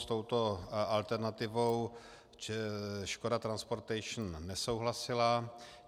S touto alternativou Škoda Transportations nesouhlasila.